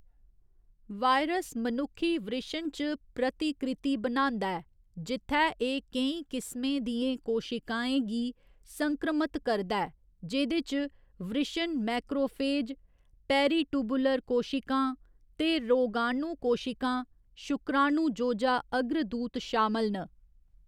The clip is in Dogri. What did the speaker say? वायरस मनुक्खी वृशण च प्रतिकृति बनांदा ऐ, जित्थै एह्‌‌ केईं किस्में दियें कोशिकाएं गी संक्रमत करदा ऐ, जेह्‌‌‌दे च वृशण मैक्रोफेज, पेरिटुबुलर कोशिकां ते रोगाणु कोशिकां, शुक्राणुजोजा अग्रदूत शामल न।